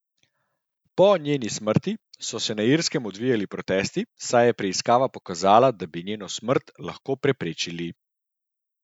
Po njeni smrti so se na Irskem odvijali protesti, saj je preiskava pokazala, da bi njeno smrt lahko preprečili.